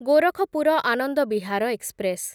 Gorakhpur Anand Vihar express